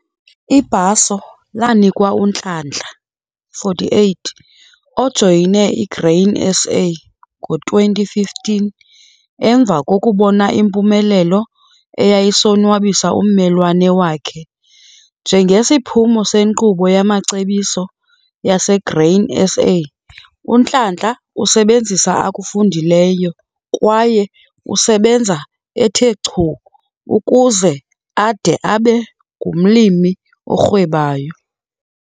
Ibhaso lanikwa uNhlanhla, 48, ojoyine iGrain SA ngo-2015 emva kokubona impumelelo eyayisonwabisa ummelwane wakhe njengesiphumo senkqubo yamacebiso yaseGrain SA. UNhlanhla usebenzisa akufundileyo kwaye usebenza ethe chu ukuze ade abe ngumlimi orhwebayo.